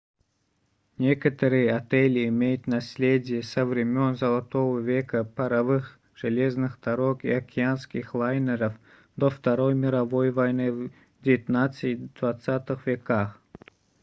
некоторые отели имеют наследие со времён золотого века паровых железных дорог и океанских лайнеров до второй мировой войны в 19 и 20 веках